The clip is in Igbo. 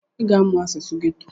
ị ga-amụ asụsụ geto!